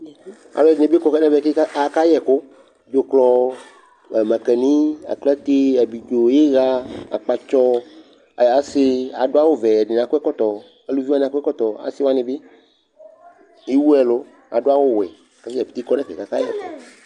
Alʊ ɛdɩnɩ ɓɩ kɔ kaka ƴɛƙʊ, dzʊklɔ, maƙanɩ, aklate, aɓlɩdzo, ɩya akpatsɔ aŋase Adʊ awʊ ʋɛ, ediŋɩ akɔ ɛkɔtɔ Alʊvɩ wanɩ akɔ ɛkɔtɔ asɩ waŋɩ ɓɩ, ewʊ ɛlʊ, adʊ awʊ wɛ kata dzapete kɔ nefɛ kaka yɛkʊ